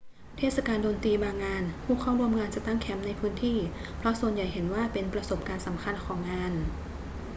เทศกาลดนตรีบางงาน ผู้เข้าร่วมงานจะตั้งแคมป์ในพื้นที่ เพราะส่วนใหญ่เห็นว่าเป็นประสบการณ์สำคัญของงาน